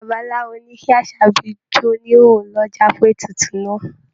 Babaláwo ní kí Àṣàbí jó ní ìhòhò lọ́jà fún ètùtù náà.